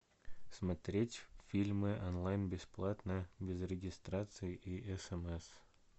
смотреть фильмы онлайн бесплатно без регистрации и смс